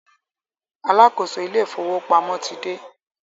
Alákóso ilé ìfọwọ́pamo ti dé.